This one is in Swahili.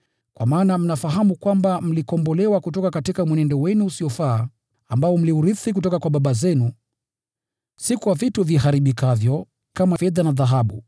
Kwa maana mnafahamu kwamba mlikombolewa kutoka mwenendo wenu usiofaa ambao mliurithi kutoka kwa baba zenu, si kwa vitu viharibikavyo kama fedha na dhahabu,